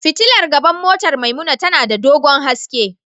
Fitilar gaban motar Maimuna tana da dogon haske.